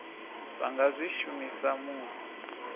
vha nga zwi shumisa musi